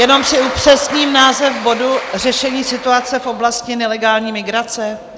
Jenom si upřesním název bodu: Řešení situace v oblasti nelegální migrace?